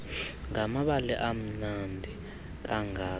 ngamabali amnandi kangaka